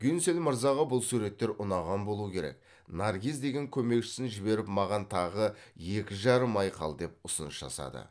гюнсель мырзаға бұл суреттер ұнаған болуы керек наргиз деген көмекшісін жіберіп маған тағы екі жарым ай қал деп ұсыныс жасады